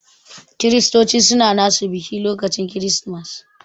Kiristoci suna nasu biki lokacin kiristimas.